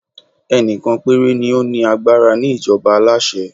ẹni kan pere ni o ni agbara ni ìjọba aláṣẹ